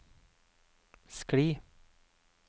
skli